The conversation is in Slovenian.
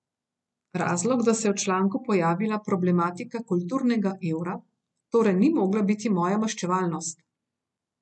Razlog, da se je v članku pojavila problematika kulturnega evra, torej ni mogla biti moja maščevalnost.